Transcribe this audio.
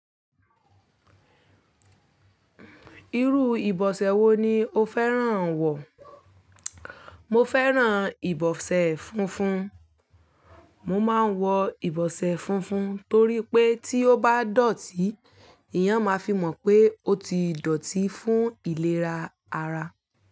Irú ìbọ̀sẹ̀ wo ni o fẹ́ràn wọ̀? Mo fẹ́ràn ìbọ̀sẹ̀ funfun. Mo máa ń wọ ìbọ̀sẹ̀ funfun torí pé tí ó bá dọ̀tí, eeyan máa fi mọ̀ pé ó ti dọ̀tí fún ìlera ara.